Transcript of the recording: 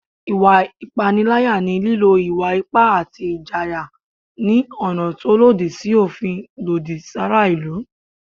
Ìwà ìpániláyà ni lílò ìwà ipá àti ìjàyè ní ọ̀nà tó lòdì sí òfin lòdì sí àwọn ará ìlú